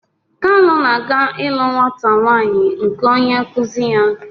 Kalu na-aga ịlụ nwata nwaanyị onye nkụzi ya.